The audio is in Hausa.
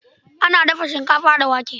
Ana dafa shinkafa da wake.